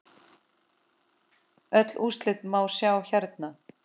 Öll úrslit má sjá hérna.